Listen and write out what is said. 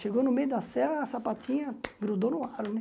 Chegou no meio da sé, a sapatinha grudou no aro, né?